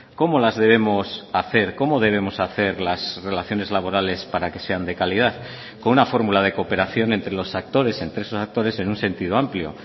cómo las debemos hacer cómo debemos hacer las relaciones laborales para que sean de calidad con una fórmula de cooperación entre los actores entre esos actores en un sentido amplio